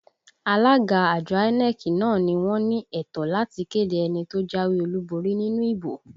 Alága àjọ INEC náà ni wọ́n ní ẹ̀tọ́ láti kéde ẹni tó jáwé olúborí nínú ìbò